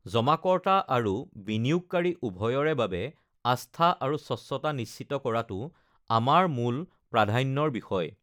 জমাকৰ্তা আৰু বিনিয়োগকাৰী উভয়ৰে বাবে আস্থা আৰু স্বচ্ছতা নিশ্চিত কৰাটো আমাৰ মূল প্ৰাধান্যৰ বিষয়